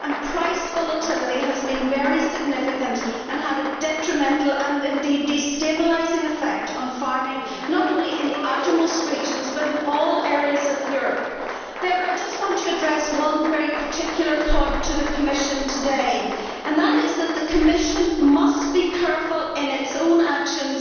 Price volatility has been very significant and had a detrimental, and indeed destabilising, effect on farming, not only in the outermost regions, but in all areas of Europe. However, I just want to address one very particular point to the Commission today, and that is that the Commission must be careful in its own actions